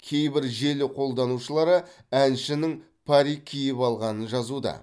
кейбір желі қолданушылары әншінің парик киіп алғанын жазуда